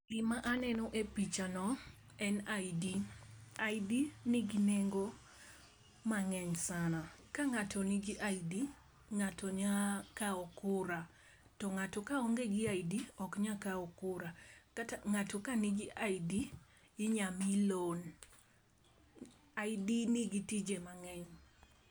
Gima aneno e pichano en ID, ID nigi nengo manegny sana, ka ngato nigi ID ngato nyalo kaw kura, to ngato kaonge gi ID to ok onyal kaw kura. Ngato ka nigi ID inyal mii loan. ID nigi tije mangeny